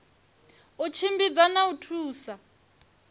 u tshimbidza na u thusa